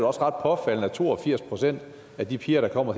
også ret påfaldende at to og firs procent af de piger der kommer